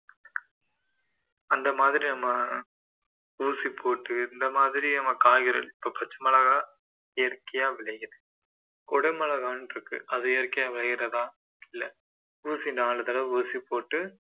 அந்த மாதிரி நம்ம ஊசி போட்டு இந்த மாதிரி நம்ம காய்கறிகள் பச்சை மிளகாய் இயற்கையா விளையுது குடைமிளகாய்னு இருக்கு அது இயற்கையாக விளையறதா இல்ல ஊசி நாலு தடவ ஊசி போட்டு